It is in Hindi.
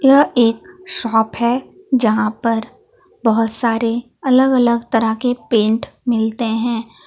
यह एक शॉप है जहां पर बहोत सारे अलग अलग तरह के पेंट मिलते हैं।